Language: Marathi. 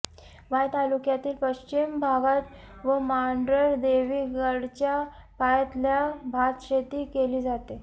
वाई तालुक्याच्या पश्चिम भागात व मांढरदेवी गडाच्या पायथ्याला भातशेती केली जाते